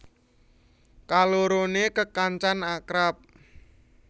Kaloroné kekancan akrab